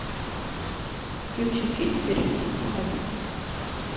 включи фильм берегись автомобиля